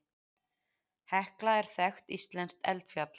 Hekla er þekkt íslenskt eldfjall.